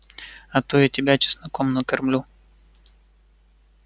а то и тебя чесноком накормлю